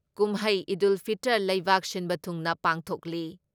ꯀꯨꯝꯍꯩ ꯏꯗꯨꯜ ꯐꯤꯜꯇꯔ ꯂꯩꯕꯥꯛ ꯁꯤꯟꯕ ꯊꯨꯡꯅ ꯄꯥꯡꯊꯣꯛꯂꯤ ꯫